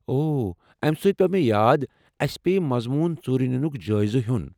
اوو! امہ سۭتۍ پیوٚو مےٚ یاد، اسہِ پییہِ مضموٗن ژوٗرِ نِنُك جایزٕ ہوٚن ۔